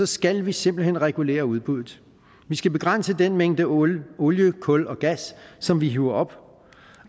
skal vi simpelt hen regulere udbuddet vi skal begrænse den mængde olie olie kul og gas som vi hiver op